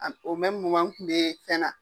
n tun bɛ fɛn na.